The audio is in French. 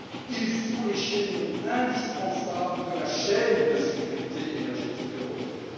Ils sont les chaînons indispensables de la chaîne de sécurité énergétique européenne.